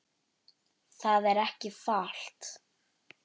Það er ekki falt